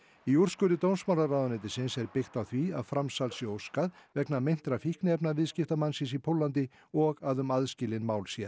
í úrskurði dómsmálaráðuneytisins er byggt á því að framsals sé óskað vegna meintra fíkniefnaviðskipta mannsins í Póllandi og að um aðskilin mál sé